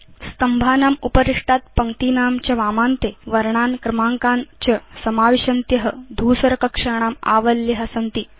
स्तम्भानाम् उपरिष्टात् पङ्क्तीनां च वामान्ते वर्णान् क्रमाङ्कान् च समाविशन्त्य धूसरकक्षाणाम् आवल्य सन्ति